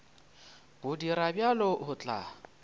go dira bjalo o tla